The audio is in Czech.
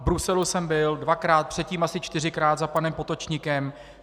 V Bruselu jsem byl dvakrát, předtím asi čtyřikrát za panem Potočnikem.